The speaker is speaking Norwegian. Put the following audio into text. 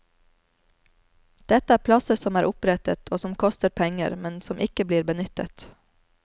Dette er plasser som er opprettet, og som koster penger, men som ikke blir benyttet.